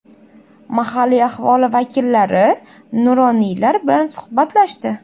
Mahalliy aholi vakillari, nuroniylar bilan suhbatlashdi.